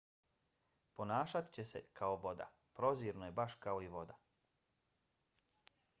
ponašat će se kao voda. prozirno je baš kao i voda.